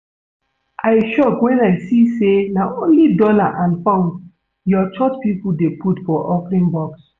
I shock wen I see say na only dollar and pound your church people dey put for offering box